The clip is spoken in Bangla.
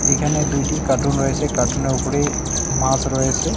এইখানে দুইটি কার্টুন রয়েছে কার্টুনের উপরে মাস রয়েসে।